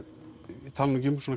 ég tala nú ekki um svona